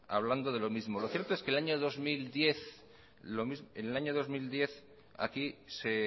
hablando de lo mismo lo cierto es que en el año dos mil diez aquí se